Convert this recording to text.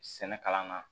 Sɛnɛ kalan na